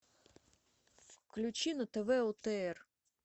включи на тв отр